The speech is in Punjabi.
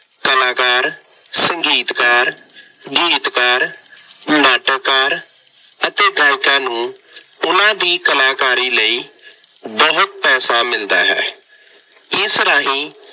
ਕਲਾਕਾਰ, ਸੰਗੀਤਕਾਰ, ਗੀਤਕਾਰ, ਨਾਟਕਕਾਰ ਅਤੇ ਗਾਇਕਾਂ ਨੂੰ ਉਹਨਾ ਦੀ ਕਲਾਕਾਰੀ ਲਈ ਬਹੁਤ ਪੈਸਾ ਮਿਲਦਾ ਹੈ। ਇਸ ਰਾਹੀਂ